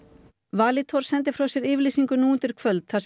Valitor sendi frá sér yfirlýsingu nú undir kvöld þar